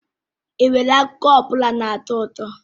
Ị nwere akụkọ ọ bụla na-atọ ụtọ?